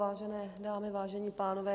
Vážené dámy, vážení pánové.